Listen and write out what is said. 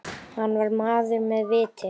Hann var maður með viti.